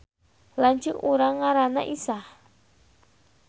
Lanceuk urang ngaranna Isah